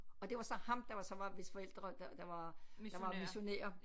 Og det var så ham der var så var hvis forældre der der var der var missionærer